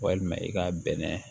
Walima i ka bɛnɛ